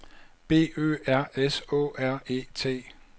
B Ø R S Å R E T